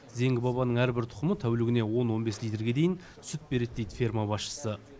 зеңгі бабаның әрбір тұқымы тәулігіне он он бес литрге дейін сүт береді дейді ферма басшысы